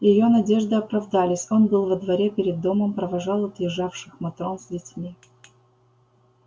её надежды оправдались он был во дворе перед домом провожал отъезжавших матрон с детьми